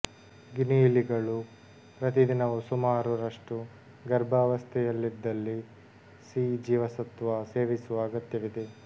ಗಿನಿಯಿಲಿಗಳು ಪ್ರತಿದಿನವೂ ಸುಮಾರು ರಷ್ಟು ಗರ್ಭಾವಸ್ಥೆಯಲ್ಲಿದ್ದಲ್ಲಿ ಸಿ ಜೀವಸತ್ತ್ವ ಸೇವಿಸುವ ಅಗತ್ಯವಿದೆ